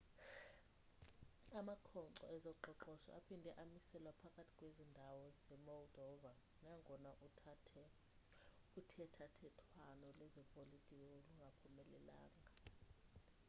amakhonkco ezoqoqosho aphinde amiselwa phakathi kwezi ndawo ze-moldova nangona uthethathethwano lwezopolitiko lungaphumelelanga